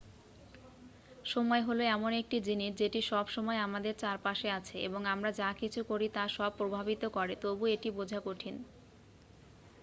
সময় হলো এমন একটি জিনিস যেটি সব সময় আমাদের চারপাশে আছে এবং আমরা যা কিছু করি তা সব প্রভাবিত করে তবুও এটি বোঝা কঠিন